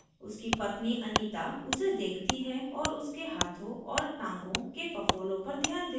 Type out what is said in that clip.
उसकी पत्नी anita उसे देखती है और उसके हाथों और टाँगों के फफोलों पर ध्यान देती है